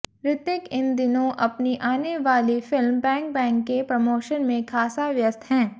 रितिक इन दिनों अपनी आने वाली फिल्म बैंग बैंग के प्रमोशन में खासा व्यस्त हैं